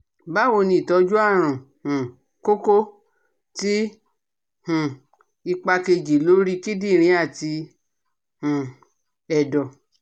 Bawoni itoju arun um koko ti um ipa keji lori kidirin ati um edo?